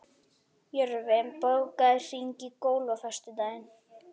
Jörfi, bókaðu hring í golf á föstudaginn.